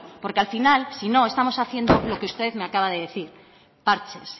porque al final si no estamos haciendo lo que usted me acaba de decir parches